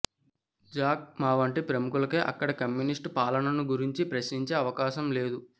Jack Ma వంటి ప్రముఖులకే ఇక్కడి కమ్యూనిస్టు పాలనను గురించి ప్రశ్నించే అవకాశం లేదు